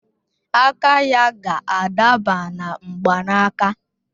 Aka ya ga-adaba na mgbanaka